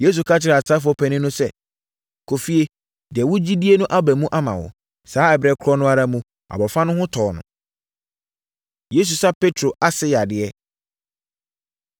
Yesu ka kyerɛ asraafoɔ panin no sɛ, “Kɔ efie. Deɛ wogye die no aba mu ama wo!” Saa ɛberɛ korɔ no ara mu, abɔfra no ho tɔɔ no! Yesu Sa Petro Ase Yadeɛ